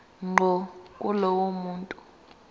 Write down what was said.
ngqo kulowo muntu